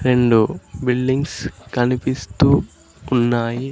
రెండు బిల్డింగ్స్ కనిపిస్తూ ఉన్నాయి.